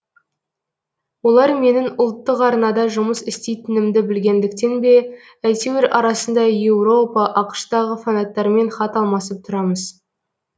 олар менің ұлттық арнада жұмыс істейтінімді білгендіктен бе әйтеуір арасында еуропа ақш тағы фанаттармен хат алмасып тұрамыз